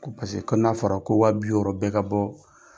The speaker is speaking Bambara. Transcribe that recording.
Ko ko n'a fɔra ko wa bi bɛ ka bɔ